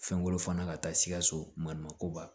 Fɛnko fana ka taa sikaso maɲuman ko ba